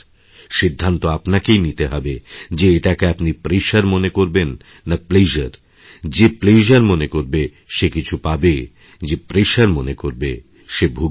সিদ্ধান্তআপনাকেই নিতে হবে যে এটাকে আপনি প্রেশার ভাববেন না প্লেজারযে প্লেজার মানবে সে কিছু পাবে যে pressureমানবে সে ভুগবে